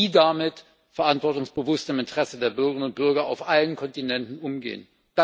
Wie damit verantwortungsbewusst im Interesse der Bürger und Bürger auf allen Kontinenten umgehen?